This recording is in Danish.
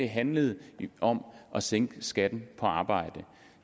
handlede om at sænke skatten på arbejde